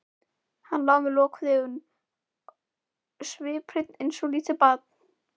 Hann lá með lokuð augun sviphreinn eins og lítið barn.